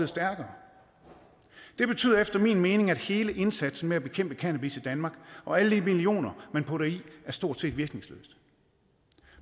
stærkere det betyder efter min mening at hele indsatsen med at bekæmpe cannabis i danmark og alle de millioner man putter i det stort set er virkningsløs